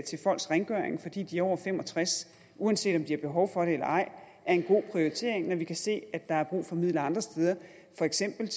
til folks rengøring fordi de er over fem og tres år uanset om de har behov for det eller ej er en god prioritering når vi kan se at der er brug for midler andre steder for eksempel